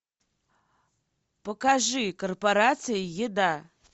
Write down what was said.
покажи корпорация еда